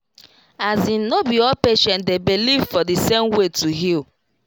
as in no be all patient dey believe for the same way to heal